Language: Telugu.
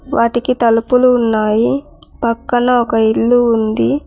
వాటికి తలుపులు ఉన్నాయి పక్కన ఒక ఇల్లు ఉంది.